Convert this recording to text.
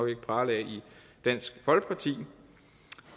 ikke prale af i dansk folkeparti